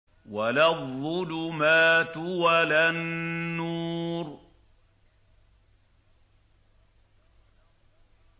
وَلَا الظُّلُمَاتُ وَلَا النُّورُ